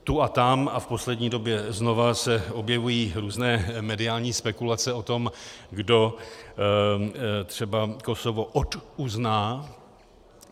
Tu a tam a v poslední době znova se objevují různé mediální spekulace o tom, kdo třeba Kosovo oduzná.